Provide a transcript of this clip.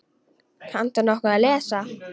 Kanntu nokkuð að lesa?